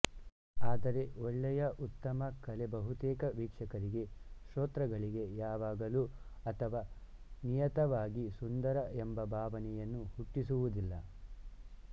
ಆದರೆ ಒಳ್ಳೆಯಉತ್ತಮ ಕಲೆ ಬಹುತೇಕ ವೀಕ್ಷಕರಿಗೆ ಶೋತೃಗಳಿಗೆ ಯಾವಾಗಲೂ ಅಥವಾ ನಿಯತವಾಗಿ ಸುಂದರ ಎಂಬ ಭಾವನೆಯನ್ನು ಹುಟ್ಟಿಸುವುದಿಲ್ಲ